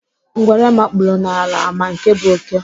Ngwere makpuru n'ala ama nke bụ oké?